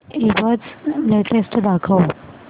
ईबझ लेटेस्ट दाखव